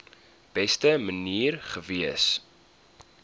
beste manier gewees